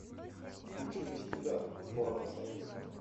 включи без тебя сборной союза